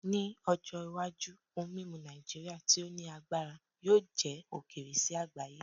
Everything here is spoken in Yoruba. Ni ojo iwaju ohun mimu Naijiria ti o ni agbara yoo jẹ okeere si agbaye